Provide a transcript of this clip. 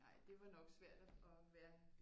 Nej det var nok svært at være